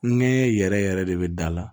Nɛɲɛ yɛrɛ yɛrɛ de bɛ da la